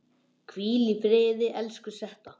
Hvíl í friði, elsku Setta.